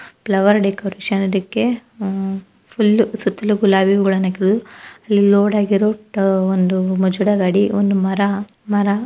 flower ಡೆಕೋರೇಷನಗೆ ಆಹ್ full ಸುತ್ತಲು ಗುಲಾಬಿ ಹೂವ ಇಲ್ಲ ಲೋಡ್ ಆಗಿರವು ಒಂದು ಗಾಡಿ ಒಂದು ಮರ--